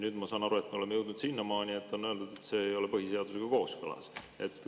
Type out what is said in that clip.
Nüüd ma saan aru, et me oleme jõudnud sinnamaani, kus on öeldud, et see ei ole põhiseadusega kooskõlas.